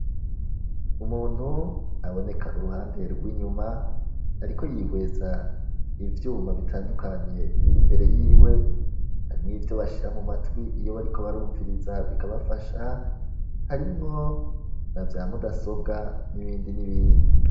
Umuntu aboneka uruhande rw'inyuma ariko yihweza ivyuma bitandukanye biri imbere yiwe harimwo ivyo bashira mu matwi iyo bariko barumviriza bikabafasha ,harimwo na vya mudasobwa n'ibindi n'ibindi.